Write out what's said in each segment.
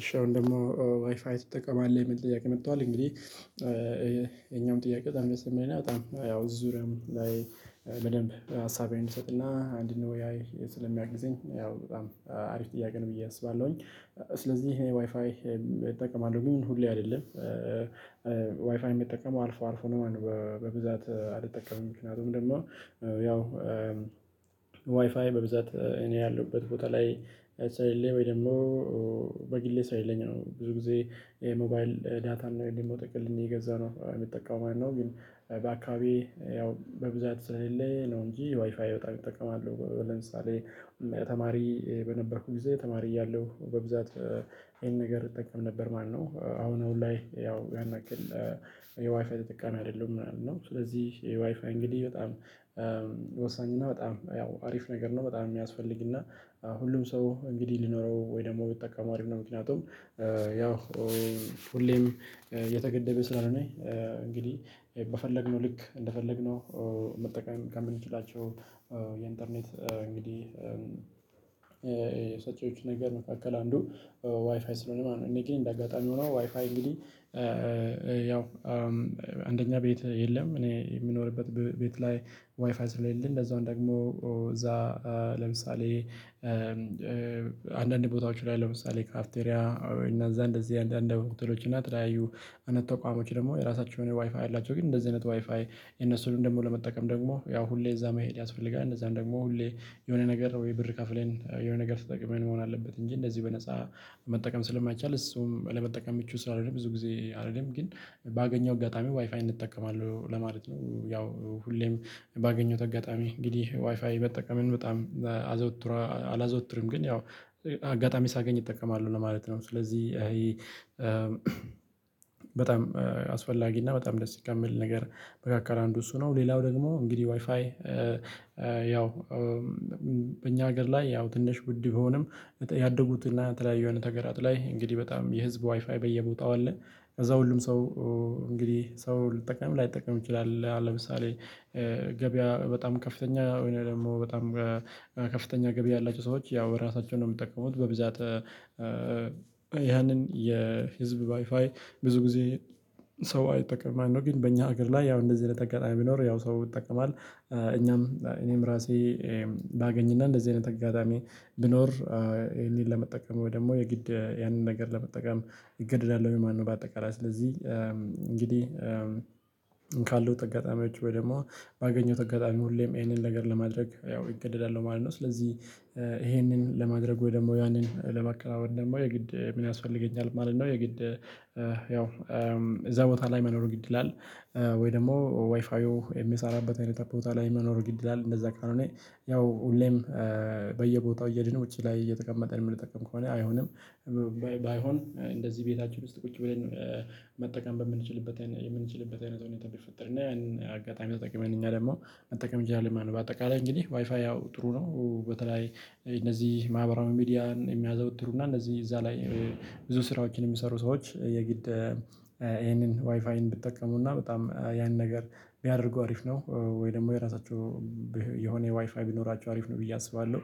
እሺ አሁን ደግሞ ዋይፋይ ትጠቀማለህ የምል ጥያቄ መጥቷል። እንግዲህ የኛውም ጥያቄ ጠም የሰማኝ ነው። በጣም ያው ዙሪያም ላይ በደንብ ሀሳቤን እንሰጥና አንድ ነው ወይ? ስለሚያግዘኝ ያው በጣም አሪፍ ጥያቄ ነው ብዬ አስባለሁኝ። ስለዚህ እኔ ዋይፋይ እጠቀማል ግን ሁሌ አይደለም። ዋይፋይ የሚጠቀመው አልፎ አልፎ ነው። በብዛት አልጠቀምም። ምክንያቱም ደግሞ ያው ዋይፋይ በብዛት እኔ ያለሁበት ቦታ ላይ ላይ ሳይለኝ ወይ ደግሞ በግሌ ሳይለኝ ነው። ብዙ ጊዜ የሞባይል ዳታ እና የደሞጠ ቅልም የገዛ ነው የሚጠቃው ማነው? ግን በአካባቢ ያው በብዛት ስለለ ነው እንጂ ዋይፋይ በጣም እጠቀማለሁ። ለምሳሌ ተማሪ በነበርኩት ጊዜ ተማሪ እያለሁ በብዛት ይሄን ነገር እጠቀም ነበር ማነው? አሁን አሁን ላይ ያው ያን ያክል የዋይፋይ ተጠቃሚ አይደለም ምናምን ነው። ስለዚህ የዋይፋይ እንግዲህ በጣም ወሳኝ እና በጣም ያው አሪፍ ነገር ነው። በጣም የሚያስፈልግና ሁሉም ሰው እንግዲህ ሊኖረው ወይ ደግሞ ቢጠቀሙ አሪፍ ነው። ምክንያቱም ያው ሁሌም የተገደበ ስላልሆነ ነው። እንግዲህ በፈለግነው ልክ እንደፈለግነው መጠቀም ጋር ልንችላቸው የኢንተርኔት እንግዲህ ሰጪዎቹ ነገር መካከል አንዱ ዋይፋይ ስለሆነ ነው። እኔ ግን እንደ አጋጣሚ ሆኖ ዋይፋይ እንግዲህ ያው አንደኛ ቤት የለም። እኔ የምኖርበት ቤት ላይ ዋይፋይ ስለሌለ እንደዛው ደግሞ እዛ ለምሳሌ አንዳንድ ቦታዎች ላይ ለምሳሌ ካፊቴሪያ እና እዛ እንደዚህ አንዳንድ አንድ ተውተሎች እና ተለያዩ አይነት ተቋሞች ደግሞ የራሳችሁን ዋይፋይ ኣላቸው ግን እንደዚህ አይነት ዋይፋይ የነሱን ደግሞ ለመጠቀም ደግሞ ያው ሁሌ እዛ መሄድ ያስፈልጋል። እንደዛም ደግሞ ሁሌ የሆነ ነገር ወይ ብር ከፍለን የሆነ ነገር ስትጠቅመን መሆን አለበት። እንጂ እንደዚህ በነፃ መጠቀም ስለማይቻል እሱም ለመጠቀም ምቹ ስላልሆነ ብዙ ጊዜ አይደለም። ግን ባገኘው እጋጣሚው ዋይፋይን እጠቀማለሁ ለማለት ነው። ያው ሁሌም ባገኘውት አጋጣሚ እንግዲህ ዋይፋይ መጠቀምን በጣም አዘውትር አላዘውትርም ግን ያው አጋጣሚ ሳገኝ እጠቀማሉ ነው ለማለት ነው። ስለዚህ ይሄ በጣም አስፈላጊ እና በጣም ደስ የሚል ነገር መካከል አንዱ እሱ ነው። ሌላው ደግሞ እንግዲህ ዋይፋይ ያው በእኛ ሀገር ላይ ያው ትንሽ ውድ ቢሆንም ያደጉትና በተለያየ የሆነ ተገራት ላይ እንግዲህ በጣም የህዝብ ዋይፋይ በየቦታው አለ። ከዛ ሁሉም ሰው እንግዲህ ሰው ልጠቀም ላይጠቀም ይችላል። ለምሳሌ ገበያ በጣም ከፍተኛ ወይ ደግሞ በጣም ከፍተኛ ገበያ ያላቸው ሰዎች ያው በራሳቸው ነው። የምትጠቀሙት በብዛት ያንን የህዝብ ዋይፋይ ብዙ ጊዜ ሰው አይጠቅምም ማለት ነው። ግን በእኛ ሀገር ላይ ያው እንደዚህ ነጠቃገር ቢኖር ያው ሰው ይጠቀማል። እኛም እኔም ራሴ ባገኝና እንደዚህ አይነት አጋጣሚ ብኖር እኔን ለመጠቀም ወይ ደግሞ የግድ ያንን ነገር ለመጠቀም ይገደዳል ወይ ማን ነው? በአጠቃላይ ስለዚህ እንግዲህ ካሉት አጋጣሚዎች ወይ ደግሞ ባገኘው አጋጣሚ ሁሌም ይሄንን ነገር ለማድረግ ያው ይገደላሉ ማለት ነው። ስለዚህ ይሄንን ለማድረጉ ወይ ደግሞ ያንን ለማከናወን ደግሞ የግድ ምን ያስፈልገኛል ማለት ነው። የግድ ያው እዛ ቦታ ላይ መኖር ግድ ይላል። ወይ ደግሞ ዋይፋው የሚሰራበት አይነት ቦታ ላይ የሚኖር ግድል አለ። እንደዛ ካልሆነ ያው ሁሌም በየቦታው እየደነ ውጪ ላይ እየተቀመጠ የምንጠቀም ከሆነ አይሆንም። ባይሆን እንደዚህ ቤታችን ውስጥ ቁጭ ብለን መጠቀም በምንችልበት የምንችልበት አይነት ነው ቢፈጠር እና ያንን አጋጣሚ ተጠቅመን እኛ ደግሞ መጠቀም እንጂ አለን በአጠቃላይ እንግዲህ ዋይፋይ ያው ጥሩ ነው። በተለይ እነዚህ ማህበራዊ ሚዲያን የሚያዘወትሩና እነዚህ እዛ ላይ ብዙ ስራዎችን የሚሰሩ ሰዎች የግድ ይሄንን ዋይፋይን ብትጠቀሙና በጣም ያንን ነገር ቢያደርጉ አሪፍ ነው። ወይ ደግሞ የራሳቸው የሆነ ዋይፋይ ቢኖራቸው አሪፍ ነው ብዬ አስባለሁ።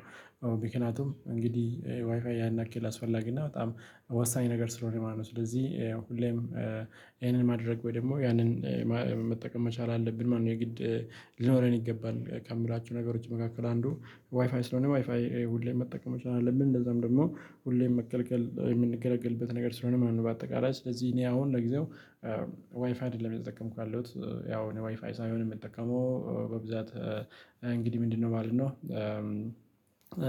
ምክንያቱም እንግዲህ ዋይፋይ ያን ያክል አስፈላጊ እና በጣም ወሳኝ ነገር ስለሆነ የማነው ስለዚህ ሁሌም ይሄንን ማድረግ ወይ ደግሞ ያንን መጠቀም መቻል አለብን ማለት ነው። የግድ ሊኖረን ይገባል ከምላችሁ ነገሮች መካከል አንዱ ዋይፋይ ስለሆነ ዋይፋይ ሁሌም መጠቀም አለብን። እንደዛም ደግሞ ሁሌም መገልገል ነገር ስለሆነ ምንም በአጠቃላይ ስለዚህ እኔ አሁን ለጊዜው ዋይፍይ አይደለም እየተጠቀምኩ ያለሁት። ያው ዋይፋይ ሳይሆን የምጠቀመው በብዛት እንግዲህ ምንድነው ማለት ነው?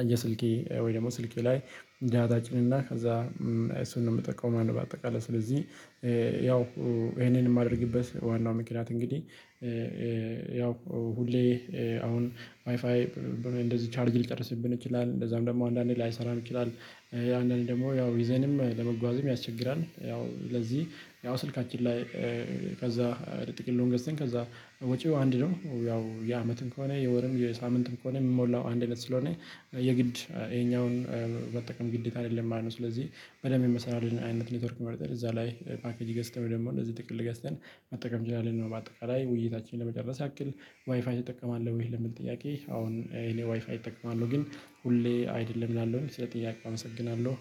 የስልኬ ወይ ደግሞ ስልኬ ላይ ደታ እጭንና ከዛ እሱን ነው የምጠቀመው ማነው? በአጠቃላይ ስለዚህ ያው ይሄንን የማደርግበት ዋናው ምክንያት እንግዲህ ያው ሁሌ አሁን ዋይፋይ እንደዚህ ቻርጅ ሊጨርስብን ይችላል እንደዛም ደግሞ አንዳንዴ ላይሰራ ይችላል። ያንን ደግሞ ያው ይዘንም ለመጓዝም ያስቸግራል። ያው ስለዚህ ያው ስልካችን ላይ ከዛ ጥቂት ሎንገስትን ከዛ ወጪው አንድ ነው። ያው የአመትም ከሆነ የወርም የሳምንትም ከሆነ የምሞላው አንድነት ስለሆነ የግድ ይሄኛውን በጠቅም ግዴታ አይደለም ማለት ነው። ስለዚህ በደንብ የመሰላችሁን አይነት ኔትወርክ መርጠር እዛ ላይ ፓኬጅ ገስተን ደግሞ እንደዚህ ጥቅል ገዝተን መጠቀም እንችላለን። በአጠቃላይ ውይይታችንን ለመጨረስ ያክል ዋይፋይ ተጠቀማለሁ ወይ ለምን ጥያቄ አሁን እኔ ዋይፋይ እጠቀማለሁ። ግን ሁሌ አይደለም እላለሁኝ ስለጥያቄ አመሰግናለሁ።